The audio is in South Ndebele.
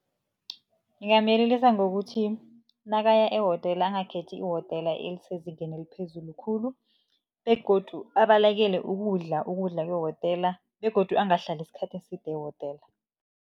Ngingamyelelisa ngokuthi nakaya ehotela, angakhethi ihotela elisezingeni eliphezulu khulu. Begodu abalekele ukudla, ukudla kwehotela begodu angahlali isikhathi eside ehotela.